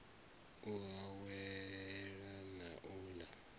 u awela na u ḽa